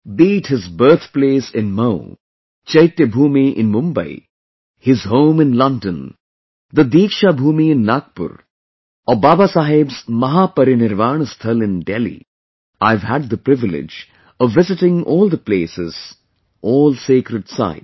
Be it his birthplace in Mhow, Chaityabhoomi in Mumbai, his home in London, the Deeksha Bhoomi in Nagpur, or Babasaheb's MahaParinirvana Sthal in Delhi, I have had the privilege of visiting all the places, all sacred sites